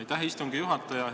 Aitäh, istungi juhataja!